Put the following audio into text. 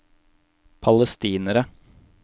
palestinere